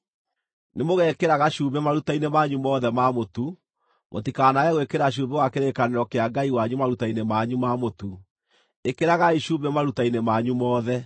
Nĩ mũgekĩraga cumbĩ maruta-inĩ manyu mothe ma mũtu. Mũtikanaage gwĩkĩra cumbĩ wa kĩrĩkanĩro kĩa Ngai wanyu maruta-inĩ manyu ma mũtu; ĩkĩragai cumbĩ maruta-inĩ manyu mothe.